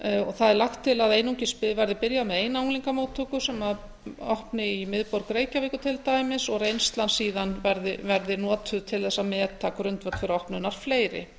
það er lagt til að einungis verði byrjað með eina unglingamóttöku sem opni í miðborg reykjavíkur til dæmis og reynslan síðan verði notuð til þess að meta grundvöll fyrir opnun fleiri